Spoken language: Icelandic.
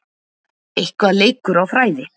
Eitthvað leikur á þræði